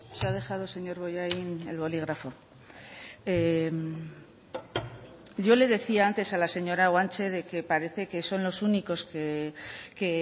se ha dejado señor bollain el bolígrafo yo le decía antes a la señora guanche de que parece que son los únicos que